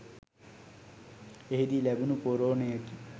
එහිදී ලැබුණු පොරෝණයකි